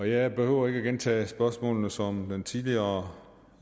jeg behøver ikke at gentage de spørgsmål som den tidligere